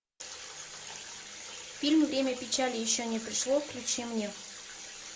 фильм время печали еще не пришло включи мне